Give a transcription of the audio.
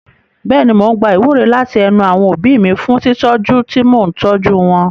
Bẹ́ẹ̀ni, mò ń gba ìwúre láti ẹnu àwọn òbí mi fún tìtọ́jú tí mò ń tọ́jú wọn.